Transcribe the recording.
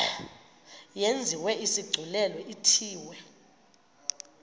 yenziwe isigculelo ithiwe